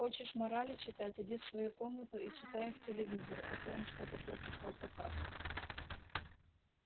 хочешь морали читать иди в свою комнату и читай их телевизору а то он что-то плохо стал показывать